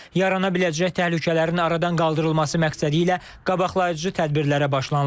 Yaranabiləcək təhlükələrin aradan qaldırılması məqsədi ilə qabaqlayıcı tədbirlərə başlanılıb.